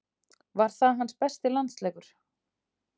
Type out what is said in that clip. Var það hans besti landsleikur?